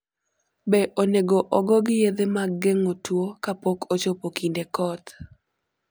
Be onego ogogi yedhe mag geng'o tuwo kapok ochopo kinde koth?